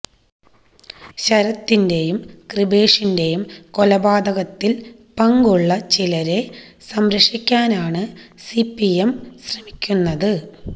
ശരത്തിന്റെയും കൃപേഷിന്റെയും കൊലപാതകത്തിൽ പങ്കുള്ള ചിലരെ സംരക്ഷിക്കാനാണ് സിപിഎം ശ്രമിക്കുന്നത്